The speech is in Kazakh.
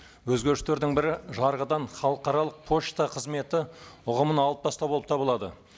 өзгерістердің бірі жарғыдан халықаралық пошта қызметі ұғымын алып тастау болып табылады